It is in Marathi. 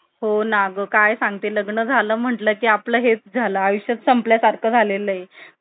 शेंगदाणा पेंड म्हणून ते row material येतं फक्त पंचवीस रुपये kilo नी. आणि त्याचे एक machine आहे, एका माझ्या मित्रानी जवळच्या